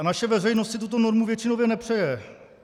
A naše veřejnost si tuto normu většinově přeje.